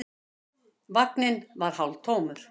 Vagninn var hálftómur.